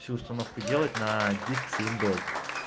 всю установку делать на диск с виндой